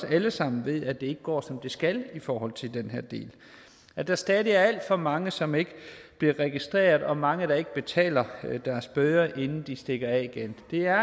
alle sammen ved at det ikke går som det skal i forhold til den her del at der stadig er alt for mange som ikke bliver registreret og mange der ikke betaler deres bøder inden de stikker af igen er